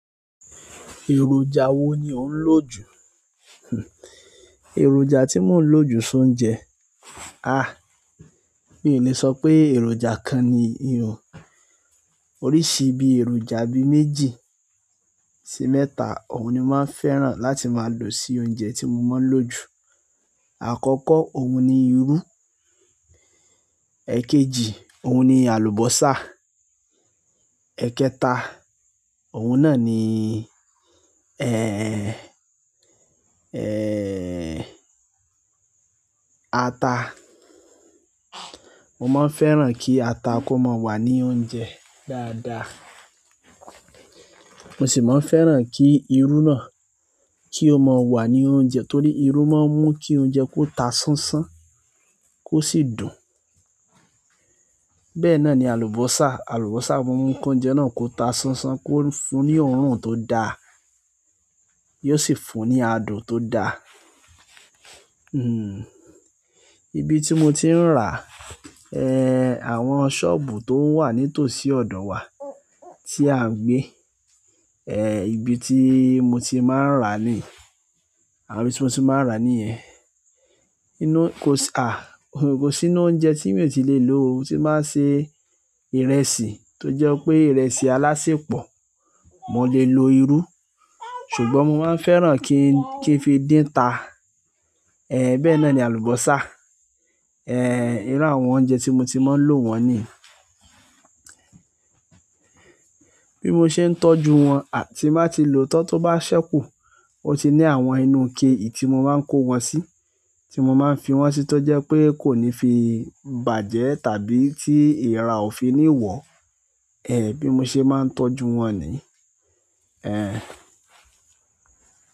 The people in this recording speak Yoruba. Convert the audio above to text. Èròjà wo ni ò ń lò jù? Èròjà tí mo ń lò jù sóúnjẹ. Mi ò lè sọ pé èròjà kan nì o, oríṣi bí èròjà bí méjì sí mẹ́ta òun ni mo máa ń fẹ́ràn láti máa lò sí oúnjẹ tí mo máa ń lò jù. Àkọ́kọ́ òun ni irú, èkejì òun ni àlùbọ́sà, èkẹta òun náà ni, ẹ́ẹ́n, ẹ́ẹ́n, ata. Mo máa ń fẹ́ràn kí ata kó máa wà ní oúnjẹ dáadáa. Mo sì máa ń fẹ́ràn kí irú náà kí ó máa wà ní oúnjẹ torí irú máa ń mú kí oúnjẹ kó ta sánsán kó sì dùn. Bẹ́ẹ̀ náà ni àlùbọ́sà, àlùbọ́sà máa ń mú kí oúnjẹ náà kó ta sánsán kó fún ní òórùn tó da yóò sì fún ní adùn tó da. Hmm, ibi tí mo ti ń rà, ẹ́ẹ́n, àwọn sọ́ọ̀bù tó wà nítòsí ọ̀dọ̀ wa tí à ń gbé, ẹ́ẹ́n, ibi tí mo ti máa ń rà ni, àwọn ibi tí mo ti máa ń rà nìyẹn. Inú, kò ṣ, à, kò sí inú oúnjẹ tí mi ò tí lè lò ó, tí mba ń ṣe ìrẹsì tó jẹ́ pé ìrẹsì alásèpọ̀, mo lè lo irú. Ṣùgbọ́n mo máa ń fẹ́ràn kí n, kí n fi dín ta, ẹ́ẹ́n, bẹ́ẹ̀ náà ni àlùbọ́sà. Ẹ́ẹ́n, irú àwọn oúnjẹ tí mo ti máa ń lò wọ́n nìyẹn. Bí mo ṣe ń tọ́jú wọn, à, tí máa ti lò tan to bá ṣẹ́kù, ó ti ní àwọn inú ike tí mo máa ń kó wọn sí, tí mo máa ń fi wọ́n sí tó jẹ́ pé kò ní fi bàjẹ́ tàbí tí ìra ò fi ni wọ̀, ẹ́ẹ́n, bí mo ṣe máa ń tọ́jú wọn ni. Ẹ́ẹ́n.